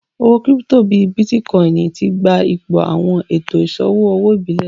Owó kírípítò bíì Bitkòinì tí gbà ìpò awọn ètò iṣọwọ ọwọ ìbílé